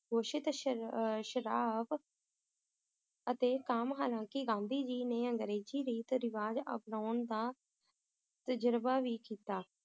ਗੋਸ਼ਤ ਸ਼ਰ~ ਅਹ ਸ਼ਰਾਬ ਅਤੇ ਕਾਮ ਹਾਲਾਂਕਿ ਗਾਂਧੀ ਜੀ ਨੇ ਅੰਗਰੇਜ਼ੀ ਰੀਤ ਰਿਵਾਜ ਅਪਨਾਉਣ ਦਾ ਤਜਰਬਾ ਵੀ ਕੀਤਾ